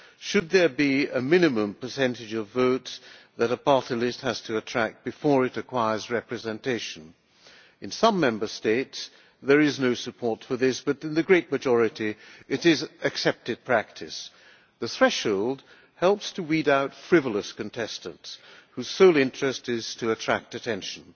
Should there be a minimum percentage of votes that a party list has to attract before it acquires representation? In some Member States there is no support for this, but in the great majority it is accepted practice. The threshold helps to weed out frivolous contestants whose sole interest is in attracting attention.